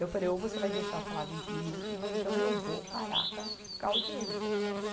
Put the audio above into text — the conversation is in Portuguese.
Eu falei, ou você vai deixar eu falar vinte minutos ou então eu vou parar com a, com a audiência.